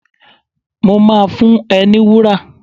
Mo máa fún ẹ ní wúrà.